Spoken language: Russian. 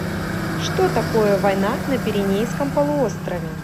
что такое война на пиренейском полуострове